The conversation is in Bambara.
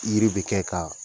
yiri bɛ kɛ k'a